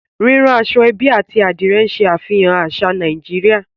Rírán aṣọ-ẹ́bí àti Adìrẹ̀ ń ṣàfihàn àṣà Nàìjíríà